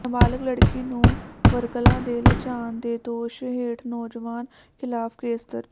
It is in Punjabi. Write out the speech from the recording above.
ਨਾਬਾਲਗ ਲੜਕੀ ਨੂੰ ਵਰਗਲਾ ਕੇ ਲਿਜਾਣ ਦੇ ਦੋਸ਼ ਹੇਠ ਨੌਜਵਾਨ ਖ਼ਿਲਾਫ਼ ਕੇਸ ਦਰਜ